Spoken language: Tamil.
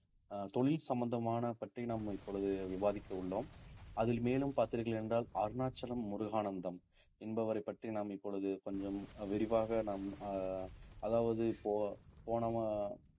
அஹ் தொழில் சம்பந்தமான பற்றி நாம் இப்பொழுது விவாதிக்க உள்ளோம் அதில் மேலும் பார்த்தீர்கள் என்றால் அருணாச்சலம் முருகானந்தம் என்பவரைப் பற்றி நாம் இப்பொழுது கொஞ்சம் விரிவாக நாம் அஹ் அதாவது இப்போ போன